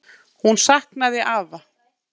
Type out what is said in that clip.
Hún saknaði afa.